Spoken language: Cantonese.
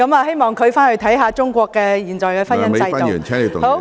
希望她回去看看中國現在的婚姻制度。